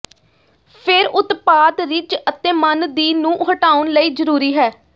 ਫਿਰ ਉਤਪਾਦ ਰਿਜ ਅਤੇ ਮੰਨ ਦੀ ਨੂੰ ਹਟਾਉਣ ਲਈ ਜ਼ਰੂਰੀ ਹੈ